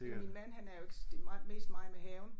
Min mand han er jo ikke det mig mest mig med haven